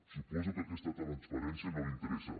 suposo que aquesta transparència no li interessa